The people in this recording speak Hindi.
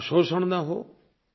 आपका शोषण न हो